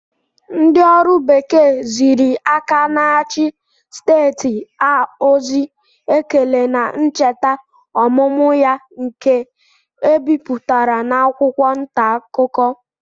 Ndị ọrụ bekee ziri aka na-achị steeti a ozi ekele na ncheta ọmụmụ ya nke e bipụtara n'akwụkwọ ntaakụkọ